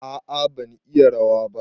A'a ban iya rawa ba.